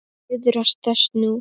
Iðrast þess nú.